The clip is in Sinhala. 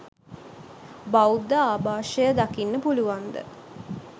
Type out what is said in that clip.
බෞද්ධ ආභාෂය දකින්න පුළුවන්ද?